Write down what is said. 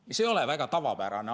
See ei ole väga tavapärane.